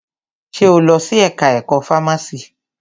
Ṣe o lọ sí ẹka ẹ̀kọ́ fámási?